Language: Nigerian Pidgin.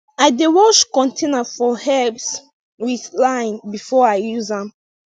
i dey wash container for herbs with lime before i use am